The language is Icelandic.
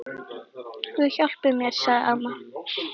Guð hjálpi mér, sagði amma.